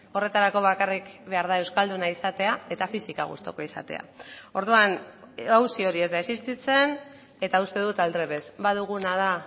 horretarako bakarrik behar da euskalduna izatea eta fisika gustuko izatea orduan auzi hori ez da existitzen eta uste dut aldrebes baduguna da